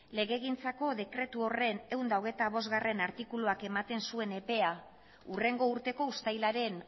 legegintzako dekretu horren ehun eta hogeita bostgarrena artikuluak ematen zuen epea hurrengo urteko uztailaren